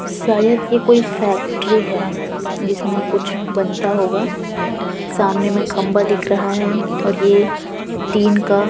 शायद ये कोई फैक्ट्री है जिसमे कुछ बनता होगा सामने में खम्बा दिख रहा है और ये टीन का --